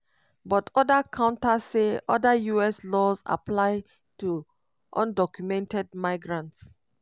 but oda counter say oda us laws apply to undocumented migrants